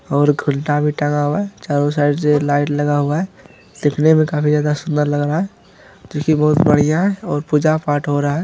और घुमटा भी टंगा हुआ है चारों साइड से लाइट लगा हुआ है दिखने में काफी ज्यादा सूंदर लग रहा है क्यूंकि बहुत बढ़िया है और पूजा-पाठ हो रहा है।